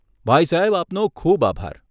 ભાઈ સાહેબ, આપનો ખૂબ આભાર.